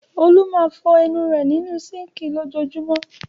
Olú máa fọ ẹnu rẹ̀ nínú síńkì lójoojúmọ́.